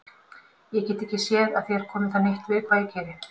Ég get ekki séð að þér komi það neitt við hvað ég geri.